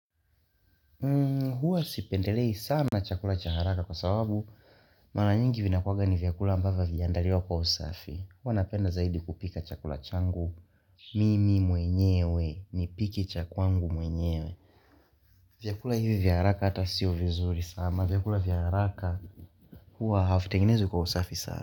Huwa sipendelei sana chakula cha haraka kwa sababu Mara nyingi vinakuwanga ni vyakula ambavyo havijaandaliwa kwa usafi Huwa napenda zaidi kupika chakula changu Mimi mwenyewe nipike cha kwangu mwenyewe vyakula hivi vya haraka hata sio vizuri sana vyakula vya haraka huwa havitengenezwi kwa usafi saa.